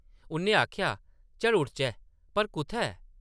उʼन्नै आखेआ, ‘‘चल उडचै । पर कुʼत्थै?’’